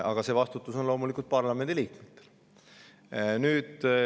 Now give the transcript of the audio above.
Aga see vastutus on loomulikult parlamendi liikmetel.